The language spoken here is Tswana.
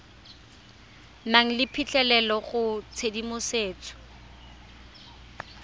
nang le phitlhelelo go tshedimosetso